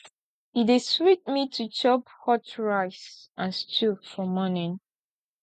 e dey sweet me to chop hot rice and stew for morning